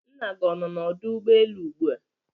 Nna gi ọnọ na ọdụ ụgbọelụ ụgbụa?